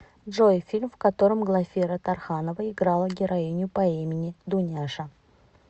джой фильм в котором глафира тарханова играла героиню по имени дуняша